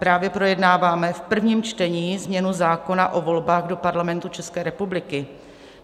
Právě projednáváme v prvním čtení změnu zákona o volbách do Parlamentu České republiky.